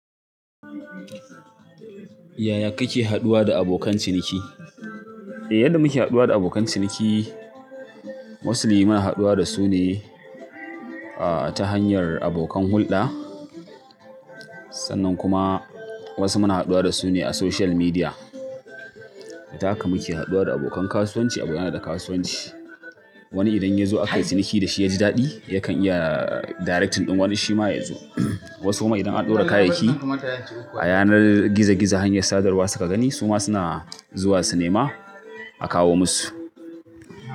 Yaya kake haɗuwa da abokan ciniki? Eh yadda muke haɗuwa da abokan ciniki, mostly muna haɗuwa da su ne ta hanyar abokan hulɗa, sannan kuma wasu muna haɗuwa da su ne a social media. Da haka muke haɗuwa da abokan kasuwanci, abokai na da kasuwanci. Wani idan yazo akwai ciniki da shi ya ji daɗi yakan iya directing ɗin wani shi ma yazo. Wasu ma idan an ɗora kayayyaki a yanar gizo gizo hanyar sadarwa suka gani su ma suna zuwa su nema akawo musu.